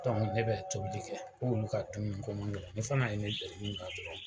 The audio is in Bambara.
ne bɛ tobili kɛ, k'olu ka dumuni ko man gɛlɛ , ne fana ye ne deli min na dɔrɔn